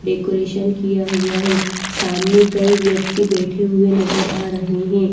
Decoration किया हुआ है सामने कई व्यक्ति बैठे हुए नजर आ रहे हैं।